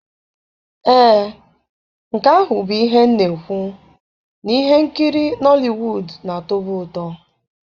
Ee, nke ahụ bụ ihe m na-ekwu, na ihe nkiri Nọliwuud na-atọbu ụtọ.